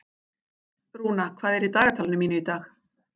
Rúna, hvað er í dagatalinu mínu í dag?